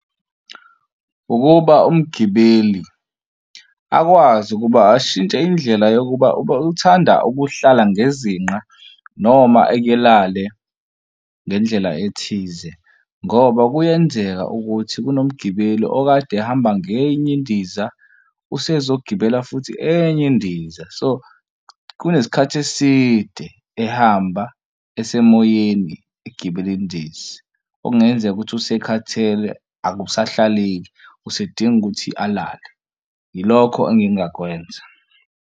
Ukuba umgibeli akwazi ukuba ashintshe indlela yokuba uthanda ukuhlala ngezinqa noma elale ngendlela ethize ngoba kuyenzeka ukuthi kunomgibela okade ehamba ngenye indiza usezogibela futhi enye indiza, so kunesikhathi eside ehamba esemoyeni egibela indiza. Okungenzeka ukuthi usekhathele akusahlaleki usedinga ukuthi alale, ilokho engingakwenza.